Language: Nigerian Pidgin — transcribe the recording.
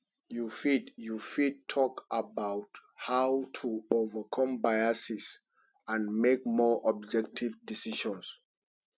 you fit you fit talk about how to overcome biases and make more objective decisions